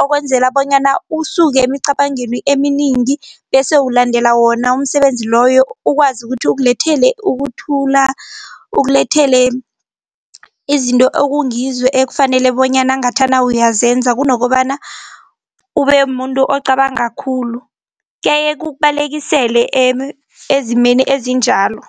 okwenzela bonyana usuke emicabangeni eminingi bese ulandela wona umsebenzi loyo ukwazi ukuthi ukulethele ukuthula, ukulethele izinto ekungizo ekufanele bonyana ngathana uyazenza kunokobana ube muntu ocabanga khulu. Kuyaye kukubalekisele ezimeni ezinjalo.